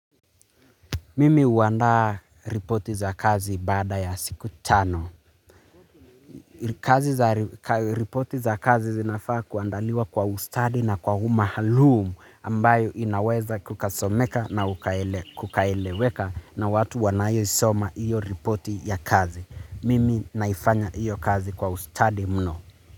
Mimi huandaa ripoti za kazi baada ya siku tano. Kazi za ripoti za kazi zinafaa kuandaliwa kwa ustadi na kwa umaalum ambayo inaweza kukasomeka na kukaeleweka na watu wanayoisoma hiyo ripoti ya kazi. Mimi naifanya iyo kazi kwa ustadi mno.